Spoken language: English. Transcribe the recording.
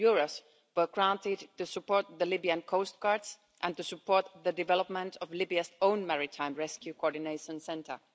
million were granted to support the Libyan Coast Guard and to support the development of Libya's own Maritime Rescue Coordination Centre.